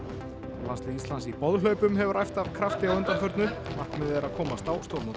og landslið Íslands í boðhlaupum hefur æft af krafti á undanförnu markmiðið er að komast á stórmót